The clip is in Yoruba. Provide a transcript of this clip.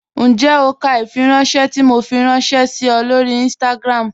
Ǹjẹ́ o kà ifìrànṣẹ̀ tó Mò fí rànṣẹ sí ọ̀ lọ́rí Instagram?